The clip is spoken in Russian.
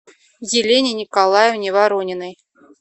елене николаевне ворониной